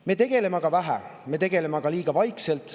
Me tegeleme sellega vähe, me tegeleme sellega liiga vaikselt.